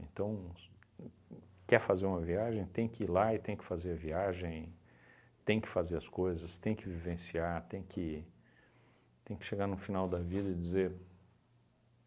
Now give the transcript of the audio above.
Então, s uhn uhn quer fazer uma viagem? Tem que ir lá e tem que fazer a viagem, tem que fazer as coisas, tem que vivenciar, tem que tem que chegar no final da vida e dizer